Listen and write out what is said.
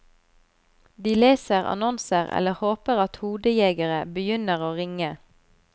De leser annonser eller håper at hodejegere begynner å ringe.